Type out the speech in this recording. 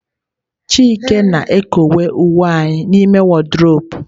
Chike na-ekowe uwe anyị n'ime wardrobe.